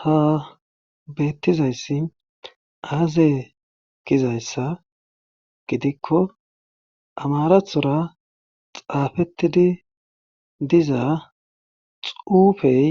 Ha beettizayssi aazae gizayssa gidikko amarathora xaafettidi diza xuufey